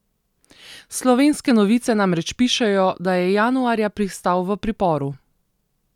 Slovenske novice namreč pišejo, da je januarja pristal v priporu.